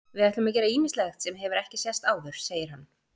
Við ætlum að gera ýmislegt sem hefur ekki sést áður segir hann.